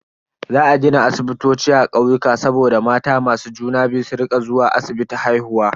Za a gina asibitoci a kauyuka saboda mata masu juna biyu su rika zuwa asibiti haihuwa.